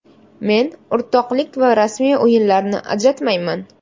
Men o‘rtoqlik va rasmiy o‘yinlarni ajratmayman.